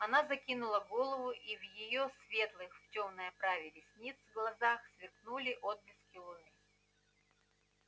она закинула голову и в её светлых в тёмной оправе ресниц глазах сверкнули отблески луны